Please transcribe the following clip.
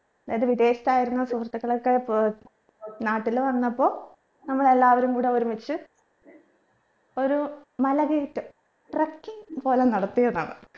അതായത് വിദേശത്തായിരുന്ന സുഹൃത്തുക്കളൊക്കെ ഇപ്പൊ നാട്ടിൽ വന്നപ്പോ നമ്മളെല്ലാവരും കൂടെ ഒരുമിച്ച് ഒരു മലകയറ്റം trucking പോലെ നടത്തിയതാണ്